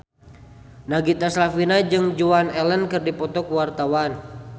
Nagita Slavina jeung Joan Allen keur dipoto ku wartawan